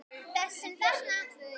Þessum þarna!